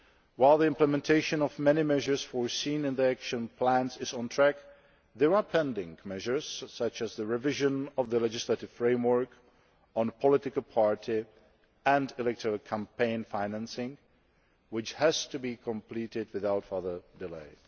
While the implementation of many measures foreseen in the Action Plans is on track, there are pending measures such as the revision of the legislative framework on political parties and electoral campaign financing, which has to be completed without further